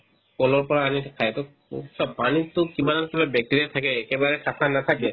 ক'লৰ পৰা আনি খাই to চোৱা পানীততো কিমান ওপৰত bacteria থাকে একেবাৰে চাফা নাথাকে